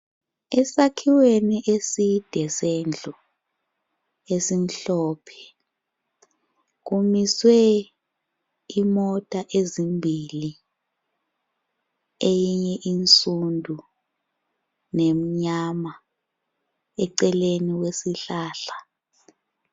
Esakhiweni eside sendlu esimhlophe kumiswe imota ezimbili eyinye insundu, lemnyama eceleni kwesihlahla.